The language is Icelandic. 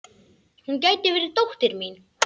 Hún gæti verið dóttir mín.